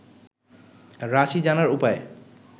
রাশি জানার উপায়